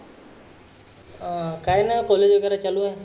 काय नाय college वगैरे चालु आहे.